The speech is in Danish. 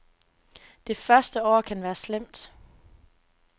Det første år kan være slemt.